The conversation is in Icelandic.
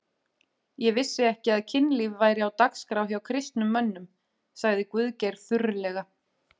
Ég vissi ekki að kynlíf væri á dagskrá hjá kristnum mönnum, sagði Guðgeir þurrlega.